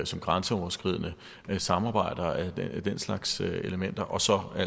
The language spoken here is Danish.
som grænseoverskridende samarbejder og den slags elementer og så